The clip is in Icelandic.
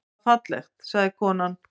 Það var fallegt, sagði konan.